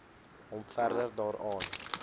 hom verder daaraan